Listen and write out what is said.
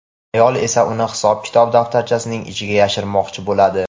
ayol esa uni hisob-kitob daftarchasining ichiga yashirmoqchi bo‘ladi.